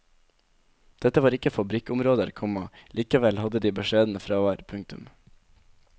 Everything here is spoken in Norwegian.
Dette var ikke fabrikkområder, komma likevel hadde de beskjedne fravær. punktum